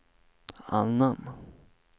annan